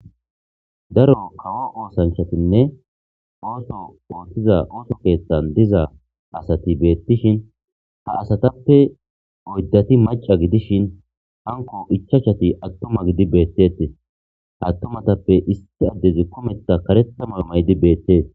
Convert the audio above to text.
Daro kawo oosanchatinne ooso oothtiza ooso keeththan diza asati beettishin ha asatappe oyddati maca gidishin hanko ichachati attoma gidi beetteti attomatappe isti addezi kometa karetama maydi beettees.